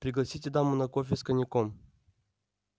пригласите даму на кофе с коньяком